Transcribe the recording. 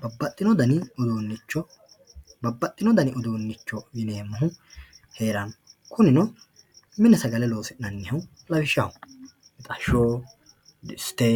Babaxino danni uduunicho, babaxino danni uduunicho heeranno kunino mine sagale loosinanihu lawishaho mixash, disite,